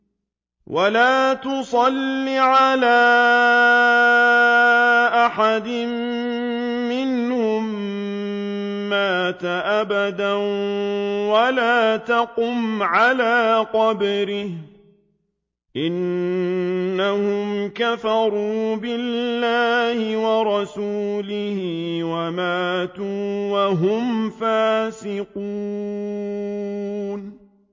وَلَا تُصَلِّ عَلَىٰ أَحَدٍ مِّنْهُم مَّاتَ أَبَدًا وَلَا تَقُمْ عَلَىٰ قَبْرِهِ ۖ إِنَّهُمْ كَفَرُوا بِاللَّهِ وَرَسُولِهِ وَمَاتُوا وَهُمْ فَاسِقُونَ